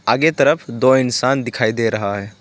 आगे तरफ दो इंसान दिखाई दे रहा है।